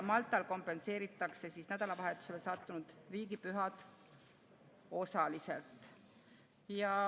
Maltal kompenseeritakse nädalavahetusele sattunud riigipühad osaliselt.